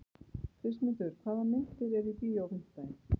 Kristmundur, hvaða myndir eru í bíó á fimmtudaginn?